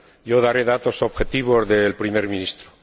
Yo daré datos objetivos del Primer Ministro.